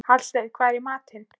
Hallsteinn, hvað er í matinn?